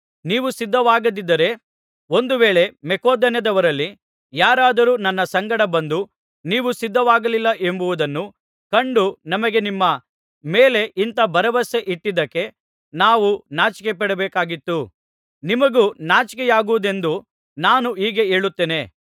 ನೀವು ಸಿದ್ಧವಾಗದಿದ್ದರೆ ಒಂದು ವೇಳೆ ಮಕೆದೋನ್ಯದವರಲ್ಲಿ ಯಾರಾದರೂ ನನ್ನ ಸಂಗಡ ಬಂದು ನೀವು ಸಿದ್ಧವಾಗಲಿಲ್ಲವೆಂಬುದನ್ನು ಕಂಡು ನಮಗೆ ನಿಮ್ಮ ಮೇಲೆ ಇಂಥ ಭರವಸೆ ಇಟ್ಟಿದ್ದಕ್ಕೆ ನಾವು ನಾಚಿಕೆಪಡಬೇಕಾದೀತು ನಿಮಗೂ ನಾಚಿಕೆಯಾಗುವುದೆಂದು ನಾನು ಹೀಗೆ ಹೇಳುತ್ತೇನೆ